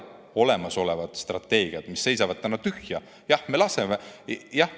Olemasolevad strateegiad seisavad seal täna tühja.